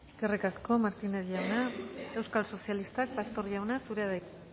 eskerrik asko eskerrik asko martínez jauna euskal sozialistak pastor jauna zurea da hitza